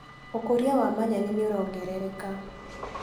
ũkũria wa manyeni nĩũrongerereka.